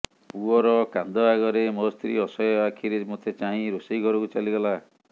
ପୁଅର କାନ୍ଦ ଆଗରେ ମୋ ସ୍ତ୍ରୀ ଅସହାୟ ଆଖିରେ ମୋତେ ଚାହିଁ ରୋଷେଇ ଘରକୁ ଚାଲିଗଲା